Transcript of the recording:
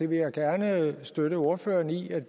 vil gerne støtte ordføreren i at